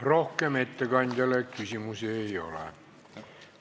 Rohkem ettekandjale küsimusi ei ole.